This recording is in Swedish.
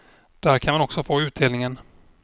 Där kan man också få utdelningen.